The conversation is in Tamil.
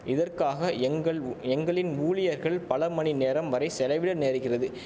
இதற்காக எங்கள்உ எங்களின் ஊழியர்கள் பல மணி நேரம் வரை செலவிட நேருகிறது